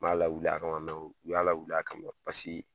U m'a lawuli a kama, u y'a lawulil a kama paseke